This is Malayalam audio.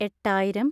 എട്ടായിരം